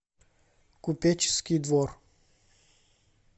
купеческий двор